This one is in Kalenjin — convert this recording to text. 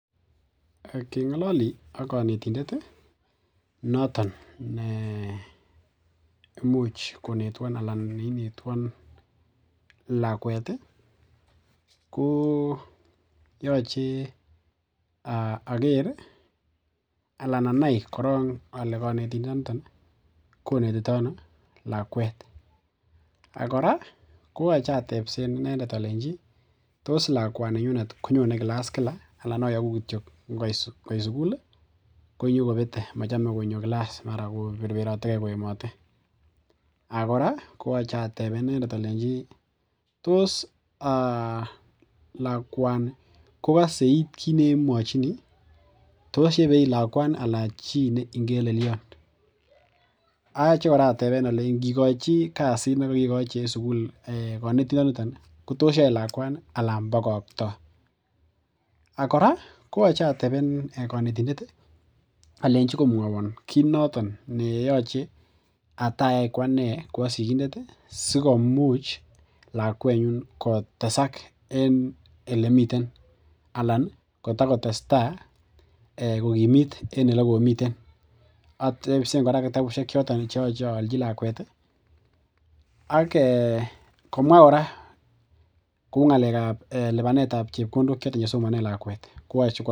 Kengololi ak konetindet noton ne imuch konetwon alan neinetwon lakwet ko yochei ager alan anai korok ale konetindoniton konetitoi ano lakwet akora koyochei atepsen inendet alenjin tos lakwani nyunet konyone kilas kila alan ayoku kityo ngoit sukul konyokopete machame konyo kilas mara koperperotekei koemote akora koyochei atebe inendet alenjin tos lakwani kokose iit kiit nenwochini tos yepe iit lakwani alan chii ne ingeleliot atyo kora ateben alei nginkochi kasit nekekochi eng sukul konetindet ko tos yoe lakwani alan pokoktoi akora koyochei ateben konetindet alenjin komwowon kiit noton neyochei atayai ko ane ko asikindet sikomuch lakwenyu kotesak eng olemiten alan kotokotestai kokimit eng olekomiten atepsen kora kitabushek choton cheyochei allchi lakwet ak komwa kora kou ngalek ap lipanet ap chepkondok chesomonee lakwet.